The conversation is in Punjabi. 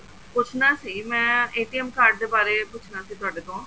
ਪੁੱਛਨਾ ਸੀ ਮੈਂ card ਦੇ ਬਾਰੇ ਪੁੱਛਨਾ ਸੀ ਤੁਹਾਡੇ ਤੋਂ